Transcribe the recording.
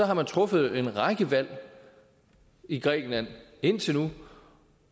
har man truffet en række valg i grækenland indtil nu